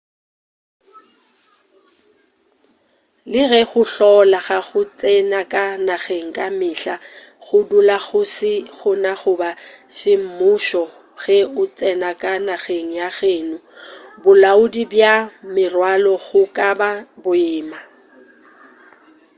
le ge go hlola ga go tsena ka nageng ka mehla go dula go se gona goba semmušo ge o tsena ka nageng ya geno bolaodi bja merwalo go ka ba boima